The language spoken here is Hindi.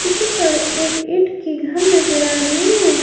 पिछे की ओर एक ईंट की घर नजर आ रही है।